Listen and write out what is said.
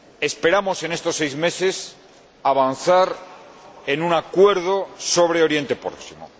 Esperamos, en estos seis meses, avanzar en un acuerdo sobre Oriente Próximo.